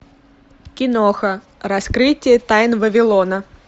киноха раскрытие тайн вавилона